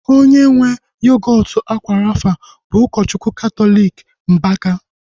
Onye nwee yogọọtu akwa rafa bụ ụkọchukwu katọliki Mbaka